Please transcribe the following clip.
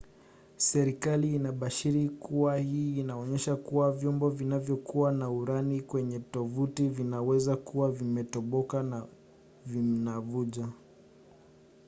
serikali inabashiri kuwa hii inaonyesha kuwa vyombo vinayokuwa na urani kwenye tovuti vinaweza kuwa vimetoboka na vinavuja